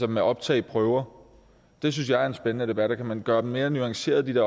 med optagelsesprøver det synes jeg er en spændende debat kan man gøre mere nuancerede det